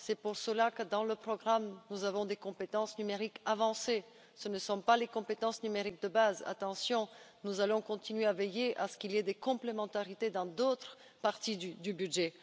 C'est pour cela que, dans le programme, nous avons des compétences numériques avancées. Ce ne sont pas les compétences numériques de base, attention, nous allons continuer à veiller à ce qu'il y ait des complémentarités dans d'autres parties du budget.